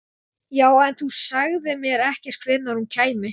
Já, en þú sagðir mér ekkert hvenær hún kæmi.